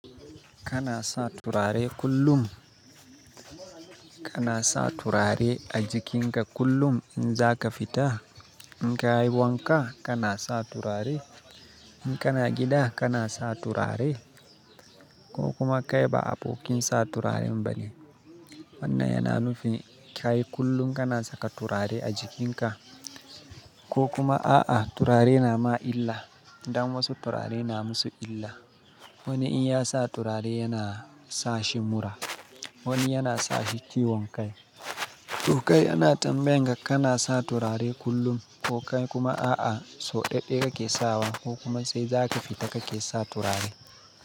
Kana sa turare kullum? Kana sa turare a jikinka kullum in zaka fita? In ka yi wanka kana sa turare? In kana gida kana sa turare? Ko kuma kai ba abokin sa turaren bane? Wannan yana nufin, kai kullum kana saka turare a jikinka? Ko kuma a'a turare na ma illa? Dan wasu turare na musu illa. Wani in ya sa turare yana sashi mura, wani yana sashi ciwon kai. To kai ana tambaye ka kana sa turare kullum ko kai kuma a'a so ɗaɗaye kake sawa ko kuma sai zaka fita kake sa turare?